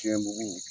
Tiɲɛ bugu